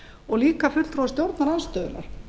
og líka fulltrúar stjórnarandstöðunnar